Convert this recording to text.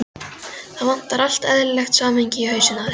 Það vantar allt eðlilegt samhengi í hausinn á þér.